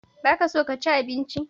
Ba ka so ka ci abinci?